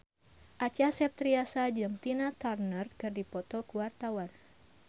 Acha Septriasa jeung Tina Turner keur dipoto ku wartawan